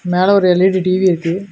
மேல ஒரு L E D TV இருக்கு.